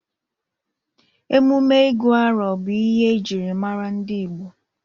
Emume ịgụ arọ bụ ihe ejiri mara ndị Igbo.